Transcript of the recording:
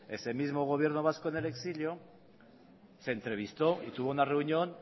ese mismo gobierno vasco en el exilio se entrevistó y tuvo una reunión